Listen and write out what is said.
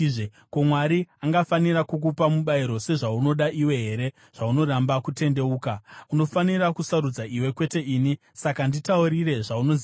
Ko, Mwari angafanira kukupa mubayiro sezvaunoda iwe here, zvaunoramba kutendeuka? Unofanira kusarudza iwe, kwete ini; saka nditaurire zvaunoziva.